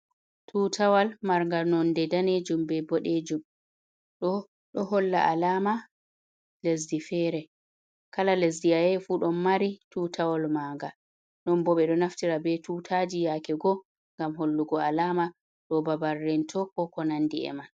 Tutawal marngal nonde danejum be boɗejum, ɗo ɗo holla alama lesdi fere, kala lesdi ayahi fu ɗon mari tutawal maga non bo ɓe ɗo naftira be tutaji yake go ngam hollugo alama do ɓabal rento ko ko nandi e man.